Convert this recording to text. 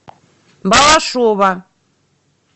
балашова